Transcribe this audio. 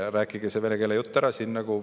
Rääkige oma venekeelne jutt ära.